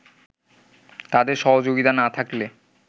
তাদের সহযোগিতা না থাকলে